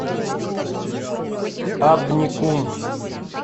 абникум